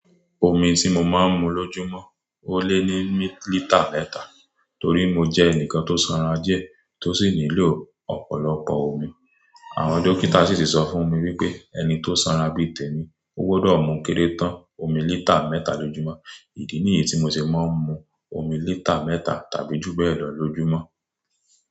Omi tí mo máa ń mu lójúmọ́, ó lé ní lítà mẹ́ta, torí mo jẹ́ ẹnìkan tó sanra díẹ̀ tó sì nílò ọ̀pọ̀lọpọ̀ omi. Àwọn dókítà sì ti ṣọ fún mi wípé, ẹni tó sanra bí i tèmi, ó gbọdọ̀ mú kéré tán omi lítà mẹ́ta lójúmọ́. Ìdí nìyí tí mo ṣe máa ń mu omi lítà mẹ́ta tàbí jù bẹ́ẹ̀ lọ lójúmọ́.